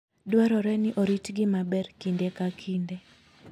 Dwarore ni oritgi maber kinde ka kinde.